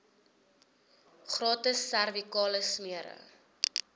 gratis servikale smere